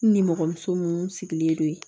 N nimɔgɔ muso munnu sigilen don yen